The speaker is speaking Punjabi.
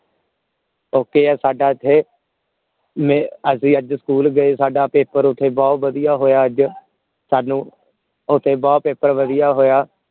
okay ਹੈ ਸਾਡਾ ਇਥੇ ਮੈ ਅਸੀਂ ਅੱਜ ਸਕੂਲ ਗਏ ਸਾਡਾ ਪੇਪਰ ਓਥੇ ਬਹੁਤ ਵਧੀਆ ਹੋਇਆ ਅੱਜ ਸਾਨੂੰ ਓਥੇ ਬਹੁਤ ਪੇਪਰ ਵਧੀਆ ਹੋਇਆ